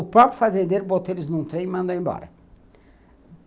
O próprio fazendeiro botou eles num trem e mandou embora.